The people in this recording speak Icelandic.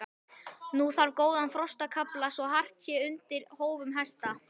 Nú þarf góðan frostakafla svo hart sé undir hófum hesta.